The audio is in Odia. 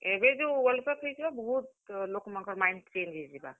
ଏବେ ଯଉ WorldCup ହେଇଥିଲା ବହୁତ୍, ଲୋକ୍ ମାନଙ୍କର୍ mind change ହେଇଯିବା।